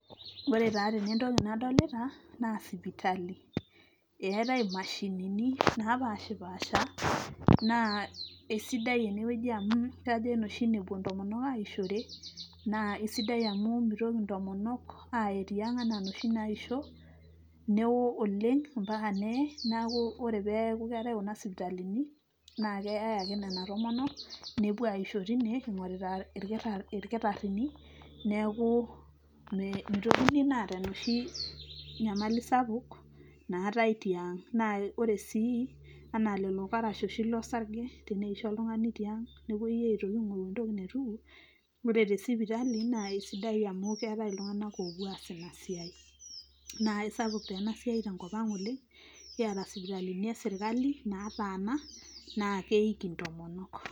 Ore taa tene entoki nadolita naa sipitali, eetai mashinini napaashipaasha naa esidai ene wueji amu kajo ine oshi nepuo ntomok aishore naa esidai amu mitoki ntomonok aye tiang' enaa noshi naisho newoo oleng' mpaka neye neeku ore peeku keetai kuna sipitalini naake eyai ake nena tomonok nepuo aisho tine ing'orita irkitarr'rini neeku mitokini naa aata enoshi nyamali sapuk naatai tiang'. Naa ore sii ena lelo karash oshi losarge teneisho oltung'ani tiang' nepuoi aitoki aing'oru entoki naituku, kore te sipitali naa kesidai amu keetai iltung'anak oopuo aas ina siai. Naake sapuk taa ena siai tenkop ang' oleng', kiata sipitalini e sirkali nataana naake eiki intomonok.